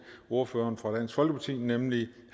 ordføreren for dansk folkeparti nemlig